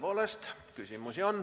Tõepoolest, küsimusi on.